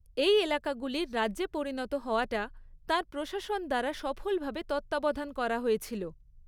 এই এলাকাগুলির রাজ্যে পরিণত হওয়াটা তাঁর প্রশাসন দ্বারা সফলভাবে তত্ত্বাবধান করা হয়েছিল।